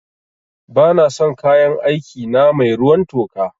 Ba na son kayan aiki na mai ruwan toka